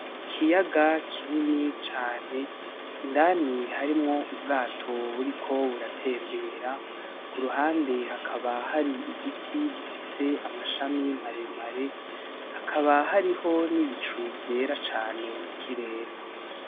Ikiyaga kinini cane, indani harimwo ubwato buriko buratembera, mu ruhande hakaba hari igiti gifise amashami maremare hakaba hariho n'ibicu vyera cane mu kirere.